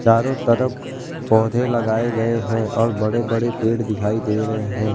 चारों तरफ पौधे लगाए गए हैं और बड़े बड़े पेड़ दिखाई दे रहे हैं।